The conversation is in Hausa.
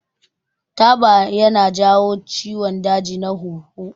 Taba ya na jawo ciwon daji na huhu